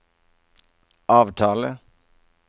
avtale